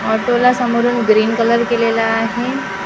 ऑटोला समोरून green colour केलेला आहे.